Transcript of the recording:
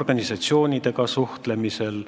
organisatsioonidega suhtlemisel.